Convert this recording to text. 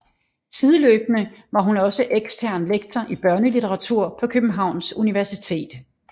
Sideløbende var hun også ekstern lektor i børnelitteratur på Københavns Universitet